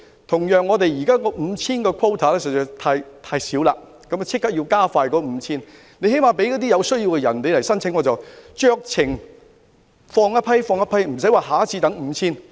同樣，我們現時的 5,000 個限額實在太少，應立即加快批出限額，最低限度讓有需要人士申請，酌情予以批准，不用再等下次批出 5,000 個限額。